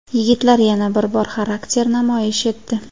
Yigitlar yana bir bor xarakter namoyish etdi.